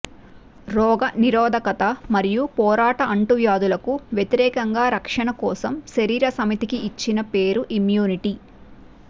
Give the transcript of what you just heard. రోగ నిరోధకత మరియు పోరాట అంటువ్యాధులకు వ్యతిరేకంగా రక్షణ కోసం శరీర సమితికి ఇచ్చిన పేరు ఇమ్మ్యునిటీ